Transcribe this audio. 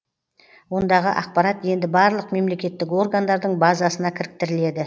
ондағы ақпарат енді барлық мемлекеттік органдардың базасына кіріктіріледі